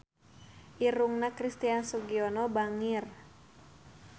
Irungna Christian Sugiono bangir